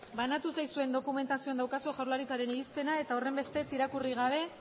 banatu zaizuen dokumentazioan daukazue jaurlaritzaren irizpena horrenbestez irakurri gabe